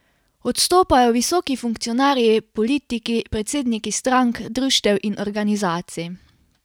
Odstopajo visoki funkcionarji, politiki, predsedniki strank, društev in organizacij.